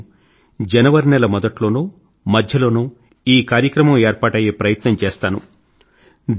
కానీ నేను జనవరి నెల మొదట్లోనో మధ్యలోనో ఈ కార్యక్రమం ఏర్పాటయ్యే ప్రయత్నం చేస్తాను